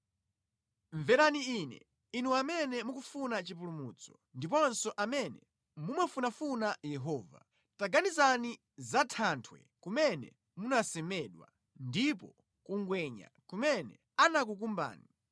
“Mverani Ine, inu amene mukufuna chipulumutso ndiponso amene mumafunafuna Yehova: Taganizani za thanthwe kumene munasemedwa ndipo ku ngwenya kumene anakukumbani;